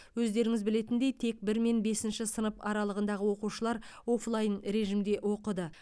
өздеріңіз білетіндей тек бір мен бесінші сынып аралығындағы оқушылар офлайн режимде оқыды